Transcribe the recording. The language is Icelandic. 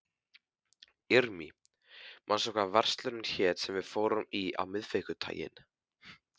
Irmý, manstu hvað verslunin hét sem við fórum í á miðvikudaginn?